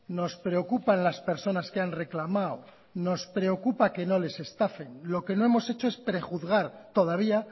nos preocupan las personas que han reclamado nos preocupa que no les estafen lo que no hemos hecho es prejuzgar todavía